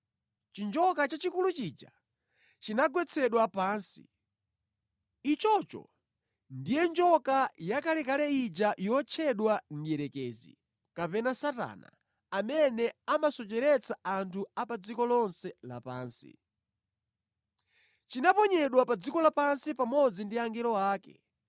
Chinjoka chachikulu chija chinagwetsedwa pansi. Ichocho ndiye njoka yakalekale ija yotchedwa Mdierekezi kapena Satana, amene amasocheretsa anthu a pa dziko lonse lapansi. Chinaponyedwa pa dziko la pansi pamodzi ndi angelo ake.